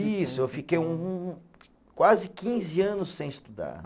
Isso, eu fiquei quase quinze anos sem estudar.